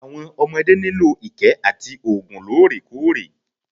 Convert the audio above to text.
Àwọn ọmodé nílò ìkẹ́ àti oògùn lóòrèkóòrè.